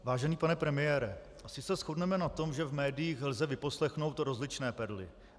Vážený pane premiére, asi se shodneme na tom, že v médiích lze vyposlechnout rozličné perly.